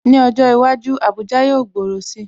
Ní ọjọ́ iwájú, Abuja yóò gbòòrò si